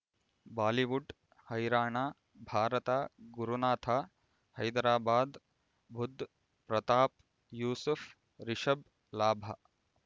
Bollywood ಹೈರಾಣ ಭಾರತ ಗುರುನಾಥ ಹೈದರಾಬಾದ್ ಬುಧ್ ಪ್ರತಾಪ್ ಯೂಸುಫ್ ರಿಷಬ್ ಲಾಭ